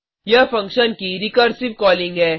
यह फंक्शन की recursive calling है